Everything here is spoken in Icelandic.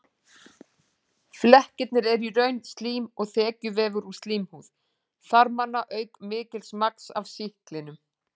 Flekkirnir eru í raun slím og þekjuvefur úr slímhúð þarmanna auk mikils magns af sýklinum.